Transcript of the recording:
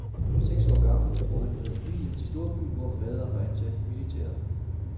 Seks år gammel drog han med familien til storbyen, hvor faderen var ansat i militæret.